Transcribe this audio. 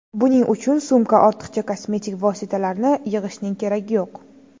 Buning uchun sumka ortiqcha kosmetik vositalarni yig‘ishning keragi yo‘q.